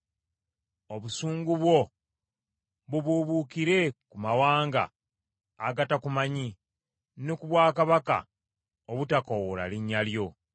Obusungu bwo bubuubuukire ku mawanga agatakumanyi, ne ku bwakabaka obutakoowoola linnya lyo.